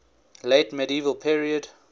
late medieval period